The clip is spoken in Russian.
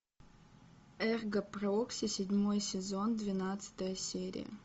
эрго прокси седьмой сезон двенадцатая серия